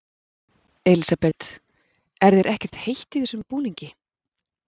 Elísabet: Er þér ekkert heitt í þessum búningi?